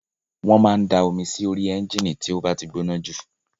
Wọ́n máa ń da omi sórí ẹ́ńjìnì tí ó bá ti gbóná jù